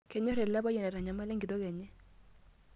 Kenyorr ele payian aitanyamala enkitok enye.